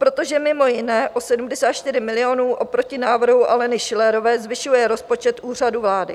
Protože mimo jiné o 74 milionů oproti návrhu Aleny Schillerové zvyšuje rozpočet Úřadu vlády.